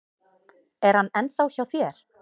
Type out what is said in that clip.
Er hann ennþá hjá þér?